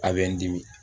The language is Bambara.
A bɛ n dimi